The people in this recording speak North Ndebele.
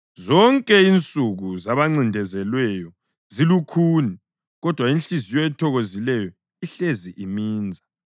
Zonke insuku zabancindezelweyo zilukhuni, kodwa inhliziyo ethokozileyo ihlezi iminza.